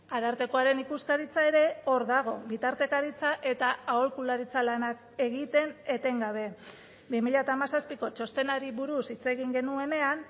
arartekoaren ikuskaritza ere hor dago bitartekaritza eta aholkularitza lanak egiten etengabe bi mila hamazazpiko txostenari buruz hitz egin genuenean